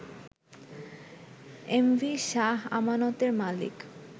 MV Shah আমানতের মালিক